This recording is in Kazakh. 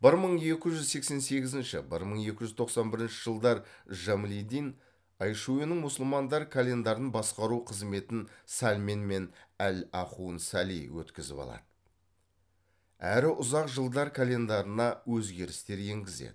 бір мың екі жүз сексен сегізінші бір мың екі жүз тоқсан бірінші жылдар жамалиддин айшуенің мұсылмандар календарын басқару қызметін салмень мен әл ахун сәли өткізіп алады әрі ұзақ жылдар календарына өзгерістер енгізеді